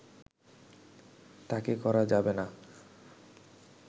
তাকে করা যাবে না